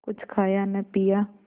कुछ खाया न पिया